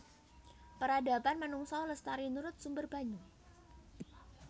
Peradaban manungsa lestari nurut sumber banyu